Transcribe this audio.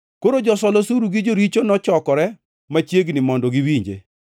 Koro josol osuru gi joricho nochokore machiegni mondo giwinje.